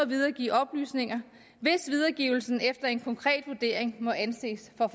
videregive oplysninger hvis videregivelsen efter en konkret vurdering må anses for